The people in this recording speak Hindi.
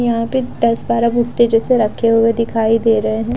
यहाँं पर दस-बारह भुट्टे जैसे रखे हुए दिखाई दे रहे हैं।